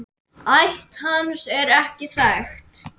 Ætt hans er ekki þekkt.